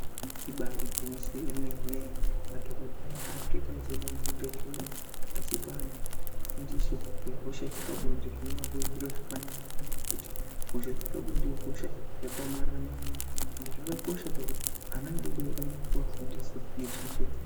Ibari gwinyiso remenen, madhokodheya akutoite echienda muzvibhehleya achipa anhu fundiso dzepabinde zvinova zviri zviro zvakanaka ngenyaya yekuti hosha dzepabonde ihosha yakaomarara maningi .Ende zvakakosha ngekuti ana adodori arikuwa fundiso ngechenjedzo.